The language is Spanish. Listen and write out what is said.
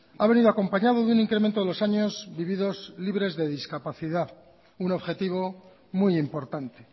ha venido acompañado de un incremento de los años vividos libres de discapacidad un objetivo muy importante